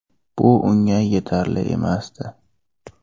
Bu unga yetarli emasdi.